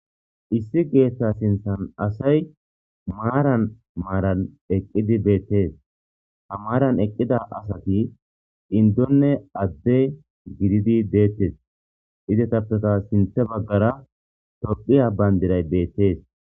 issi geetta sinthan asay maaran maaran eqqidi beettees ha maaran eqqida asati indonne adde gididi deettes izetappeta sinthe baggara tophiya bayndiray beettees.